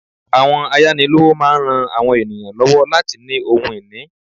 Àwọn ayánilówó máa n rán àwọn ènìyàn lọ́wọ́ láti ní ohun ìní